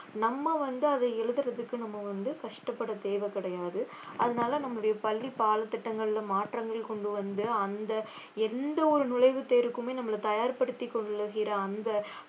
நம்ம வந்து அதை எழுதுறதுக்கு நம்ம வந்து கஷ்டப்பட தேவை கிடையாது அதனால நம்முடைய பள்ளி பாடத்திட்டங்கள்ல மாற்றங்கள் கொண்டு வந்து அந்த எந்த ஒரு நுழைவுத் தேர்வுக்குமே நம்மள தயார்படுத்திக் கொள்ளுகிற அந்த